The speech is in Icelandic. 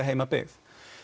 heimabyggð